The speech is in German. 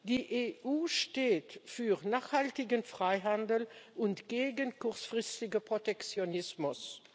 Die EU steht für nachhaltigen Freihandel und gegen kurzfristigen Protektionismus.